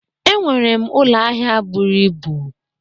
E nwere m ụlọ ahịa bụrụ ịbụ